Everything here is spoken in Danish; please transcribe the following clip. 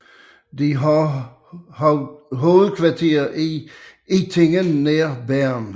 De har hovedkvarter i Ittigen nær Bern